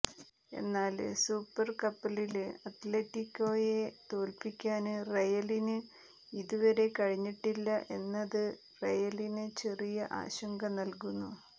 എന്നാല് സൂപ്പര് കപ്പില് അത്ലറ്റിക്കോയെ തോല്പിക്കാന് റയലിന് ഇതുവരെ കഴിഞ്ഞിട്ടില്ല എന്നത് റയലിന് ചെറിയ ആശങ്ക നല്കുന്നു